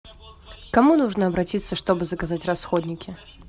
к кому нужно обратиться чтобы заказать расходники